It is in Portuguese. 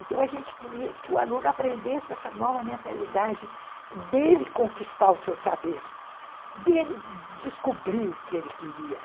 Então, a gente queria que o aluno aprendesse essa nova mentalidade dele conquistar o seu saber, dele descobrir o que ele queria.